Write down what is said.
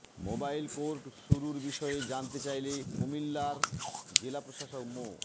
mobile court শুরুর বিষয়ে জানতে চাইলে কুমিল্লার জেলা প্রশাসক মো